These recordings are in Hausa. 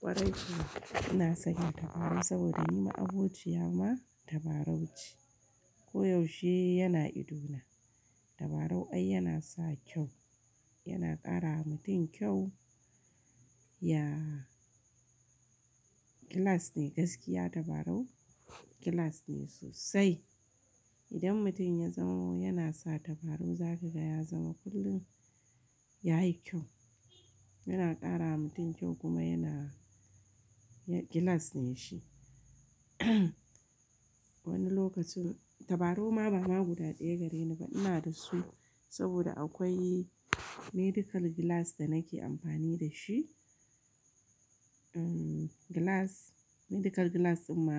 Kwarai kuwa ina sanya tabarau saboda ni ma abociyar ma tabarau ce. Ko yaushe yana idona. Tabarau ai yana sa kyau, yana karawa mutum kyau, ya gilas ne gaskiya tabarau gilas ne sosai. Idan mutum ya zamo yana sa tabarau za ka ga ya zama kullum ya yi kyau. Yana karawa mutum kyau kuma yana, ya, gilas ne shi. Wani lokacin tabarau ma bama guda ɗaya gare ni ba ina da su saboda akwai medical gilas da nake amfani da shi. Um, gilas, medical gilas ɗin ma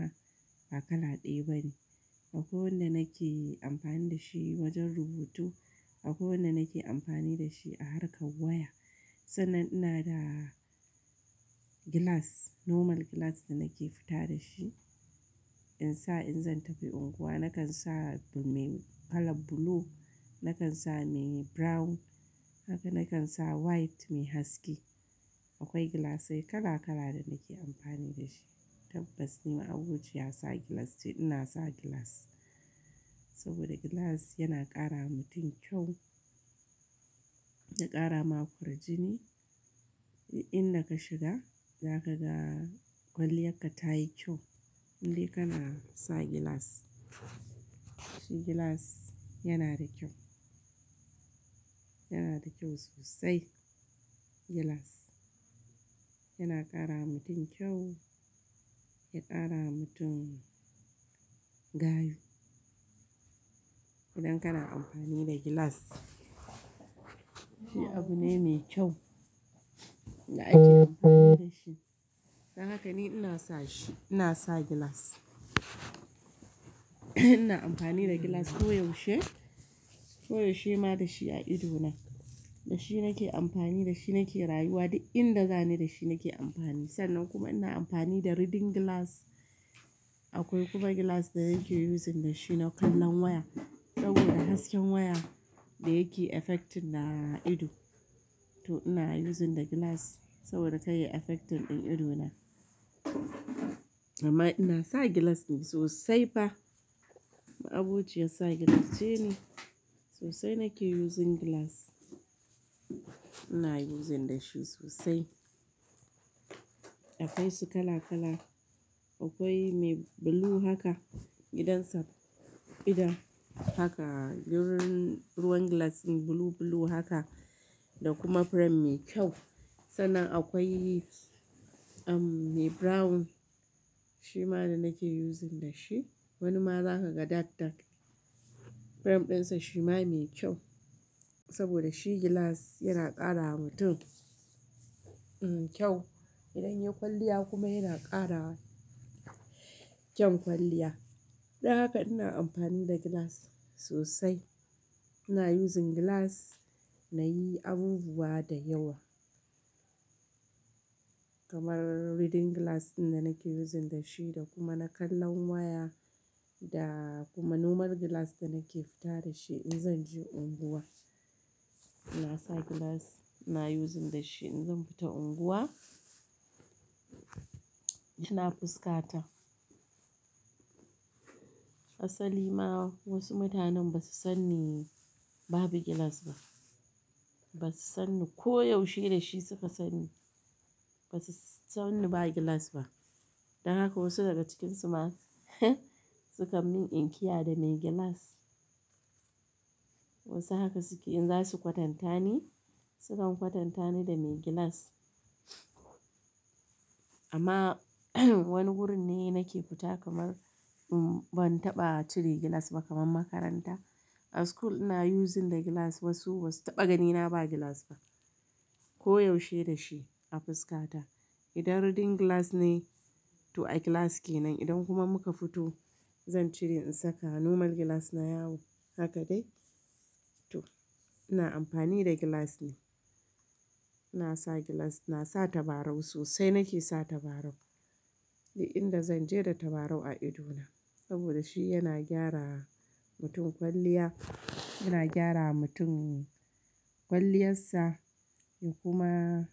ba kala ɗaya ba ne. Akwai wanda nake amfani da shi wajen rubutu, akwai wanda nake amfani da shi a harkar waya. Sannan ina da gilas, normal gilas da nake fita da shi. In sa in zan tafi unguwa nakan sa mai kalan blue, nakan sa mai brown, haka nakan sa white mai haske. Akwai gilasai kala-kala da nake amfani da shi. Tabbas ni ma abociyar sa gilas ce ina sa gilas saboda gilas yana karawa mutum kyau, ya kara ma kwarjini. Duk inda ka shiga za ka ga kwalliyarka ta yi kyau. Indai kana sa gilas. Shi gilas yana da kyau, yana da kyau sosai. Gilas yana karawa mutum kyau, ya ƙarawa mutum gayu. Idan kana amfani da gilas shi abu ne mai kyau. Da ake amfani da shi. Don haka ni ina sa shi, ina sa gilas. Ina amfani da gilas koyaushe, koyaushe ma da shi a idona. Da shi nake amfani, da shi nake rayuwa. Duk inda zani da shi nake amfani. Sannan kuma ina amfani da reading gilas. Akwai kuma gilas da nake using da shi na kallon waya saboda hasken waya da yake affecting na ido. To ina using da gilas saboda kar yayi affecting din ido na. Amma ina sa gilas sosai fa. Ma abociyar sa gilas ce ne sosai nake using gilas. Ina using da shi sosai. Akwai su kala-kala. Akwai mai blue haka, gidansa idan haka ruwan, ruwan gilas din blue blue haka da kuma frame mai kyau. Sannan akwai, um, mai brown shi ma da nake using da shi. Wani ma za ka ga dark dark. Frame ɗinsa shi ma mai kyau saboda shi gilas yana karawa mutum, um, kyau. Idan yayi kwalliya kuma yana kara kyan kwalliya. Don haka ina amfani da gilas sosai. Ina using gilas na yi abubuwa da yawa kamar reading gilas din da nake using da shi da kuma na kallon waya da kuma normal gilas da nake fita da shi in zan je unguwa. Ina sa gilas, ina using da shi in zan fita unguwa. Yana fuskata. Asali ma wasu mutanen ba su sanni babu gilas ba. Ba su sanni koyaushe da shi suka sanni. Ba su sanni babu gilas ba. Don haka wasu daga cikinsu ma sukan min in kiyaye da mai gilas. Wasu haka suke in za su kwatanta ni sukan kwatanta ni da mai gilas. Amma wani wurin ne nake fita kamar, um, ban taɓa cire gilas ba kamar makaranta. A school ina using the gilas wasu ba su taɓa ganina ba gilas ba. Koyaushe da shi a fuskata. Idan reading gilas ne to a class ke nan idan kuma muka fito zan cire in saka normal gilas na yawo. Haka dai. To ina amfani da gilas ne. Ina sa gilas, ina sa tabarau sosai nake sa tabarau. Duk inda zan je da tabarau a idona saboda shi yana gyarawa mutum kwalliya, yana gyarawa mutum kwalliyarsa ya kuma.